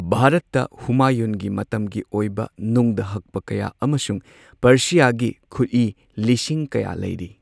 ꯚꯥꯔꯠꯇ ꯍꯨꯃꯥꯌꯨꯟꯒꯤ ꯃꯇꯝꯒꯤ ꯑꯣꯏꯕ ꯅꯨꯡꯗ ꯍꯛꯄ ꯀꯌꯥ ꯑꯃꯁꯨꯡ ꯄꯔꯁꯤꯌꯥꯒꯤ ꯈꯨꯠꯏ ꯂꯤꯁꯤꯡ ꯀꯌꯥ ꯂꯩꯔꯤ꯫